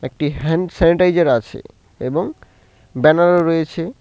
একটি hand sanitiser আছে এবং ব্যানারও রয়েছে।